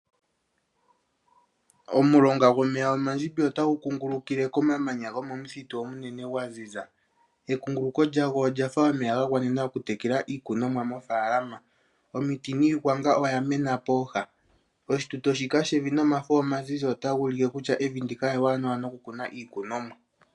Omulonga gwomeya omandjimbi ota gu kungulukile komamanya, Kuba onwiidhi gwa ziza. Ekunguluko lyagwo olya fa omeya ga tekela iikunomwa mo faalama. Omiti niigwanga oya mena pooha. Oshituto ota shi ulike kutya evi ndino ewanawa niimeno.